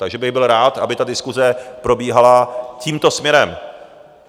Takže bych byl rád, aby ta diskuse probíhala tímto směrem.